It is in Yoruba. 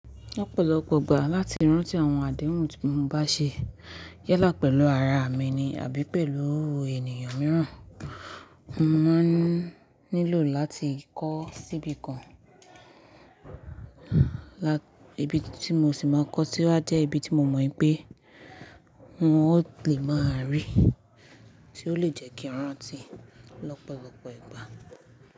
Lopọ̀lọpọ̀ ìgbà láti rántí àwọn àdéhùn tí mo bá ṣe yálà pẹ̀lú ara mi ni àbí pẹ̀lú ènìyàn mìíràn. Mo máa nílò láti kọ́ síbi kan. Ibi tí mo sì máa kọ́ sì wá jẹ́ ibi tí mo mọ̀ pé wọn ó lè máa rí, tí ó lè jẹ́ kí n rántí lọ́pọ̀lọpọ̀ ìgbà.